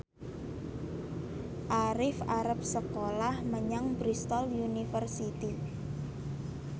Arif arep sekolah menyang Bristol university